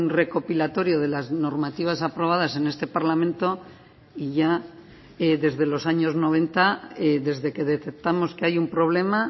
recopilatorio de las normativas aprobadas en este parlamento y ya desde los años noventa desde que detectamos que hay un problema